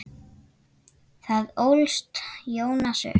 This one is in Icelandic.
Þar ólst Jónas upp.